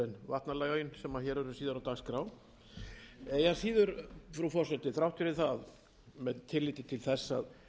vatnalögin sem hér eru síðar á dagskrá eigi að síður frú forseti þrátt fyrir það með tilliti til þess að